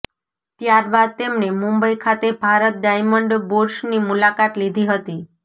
ત્યારબાદ તેમણે મુંબઈ ખાતે ભારત ડાયમંડ બુર્સની મુલાકાત લીધી હતી